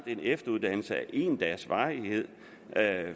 en efteruddannelse af en dags varighed